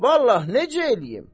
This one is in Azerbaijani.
Vallahi, necə eləyim?